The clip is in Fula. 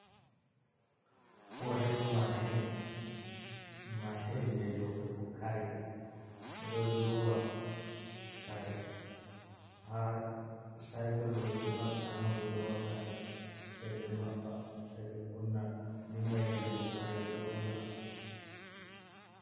Woshin mashin. Mashin je lottugo kare ɓe ɗo lowa kare ha cykul ɓe mabi tanon ɓe lowa kare sai ɓe maɓɓa sai ɓe kunna dinga yirlugo kare ɗo lota.